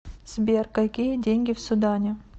сбер какие деньги в судане